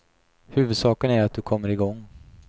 Huvudsaken är att du kommer igång.